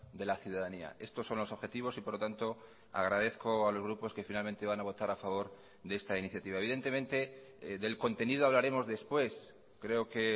de la ciudadanía estos son los objetivos y por lo tanto agradezco a los grupos que finalmente van a votar a favor de esta iniciativa evidentemente del contenido hablaremos después creo que